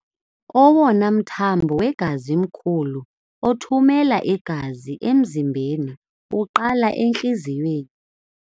Owona mthambo wegazi mkhulu othumela igazi emzimbeni uqala entliziyweni.